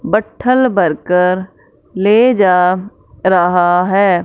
बट्ठल बरकर ले जा रहा है।